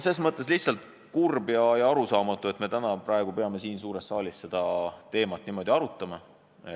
Ses mõttes on lihtsalt kurb ja arusaamatu, et me täna peame siin suures saalis seda teemat niimoodi arutama.